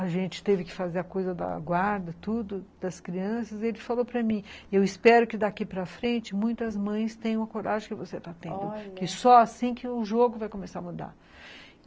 A gente teve que fazer a coisa da guarda, tudo, das crianças, e ele falou para mim, eu espero que daqui para frente muitas mães tenham o coragem que você está tendo, olha... que só assim que o jogo vai começar a mudar.